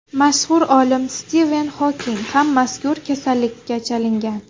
Mashhur olim Stiven Xoking ham mazkur kasallikka chalingan.